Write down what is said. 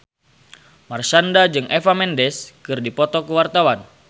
Marshanda jeung Eva Mendes keur dipoto ku wartawan